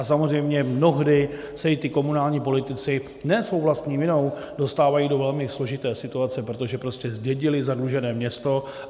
A samozřejmě mnohdy se i ti komunální politici ne svou vlastní vinou dostávají do velmi složité situace, protože prostě zdědili zadlužené město.